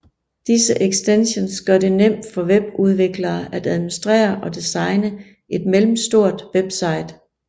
Disse ekstensions gør det nemt for webudviklere at administrere og designe et middelstort website